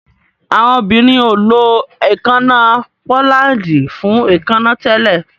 Awọn obirin o ló èékánná pólándì fún èékánná tẹlẹ.